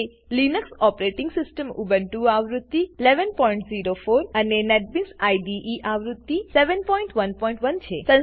Linux operating system Ubuntu આવૃત્તિ 1104 અને NetBeans IDE આવૃત્તિ 711 છે